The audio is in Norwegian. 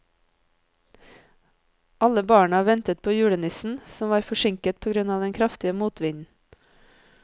Alle barna ventet på julenissen, som var forsinket på grunn av den kraftige motvinden.